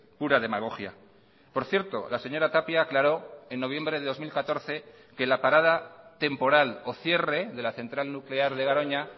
pura demagogia por cierto la señora tapia aclaró en noviembre de dos mil catorce que la parada temporal o cierre de la central nuclear de garoña